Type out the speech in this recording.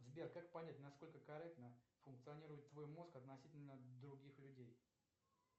сбер как понять насколько корректно функционирует твой мозг относительно других людей